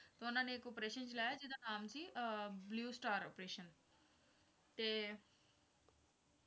ਤਾਂ ਉਨ੍ਹਾਂ ਨੇ ਇੱਕ operation ਚਲਾਇਆ ਜਿਹੜਾ ਨਾਮ ਸੀ ਅਹ blue star ਅਪ੍ਰੇਸ਼ਨ ਤੇ